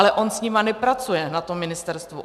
Ale on s nimi nepracuje na tom ministerstvu.